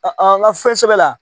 A an ka fɛn sɛbɛ la